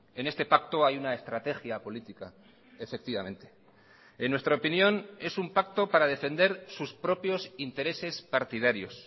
en este pacto hay una estrategia política efectivamente en nuestra opinión es un pacto para defender sus propios intereses partidarios